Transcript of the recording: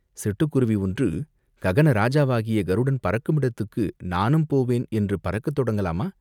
சிட்டுக் குருவி ஒன்று ககன ராஜாவாகிய கருடன் பறக்குமிடத்துக்கு நானும் போவேன் என்று பறக்கத் தொடங்கலாமா?